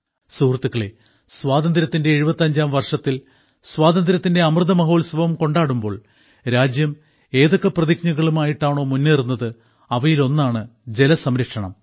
സുഹൃത്തുക്കളെ സ്വാതന്ത്ര്യത്തിന്റെ 75ാം വർഷത്തിൽ സ്വാതന്ത്ര്യത്തിന്റെ അമൃതമഹോത്സവം കൊണ്ടാടുമ്പോൾ രാജ്യം ഏതൊക്കെ പ്രതിജ്ഞകളും ആയിട്ടാണോ മുന്നേറുന്നത് അവയിലൊന്നാണ് ജലസംരക്ഷണം